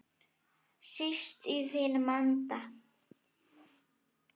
Síst í þínum anda.